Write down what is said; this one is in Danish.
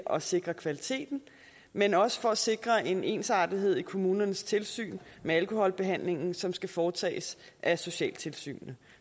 at sikre kvaliteten men også for at sikre en ensartethed i kommunernes tilsyn med alkoholbehandlingen som skal foretages af socialtilsynet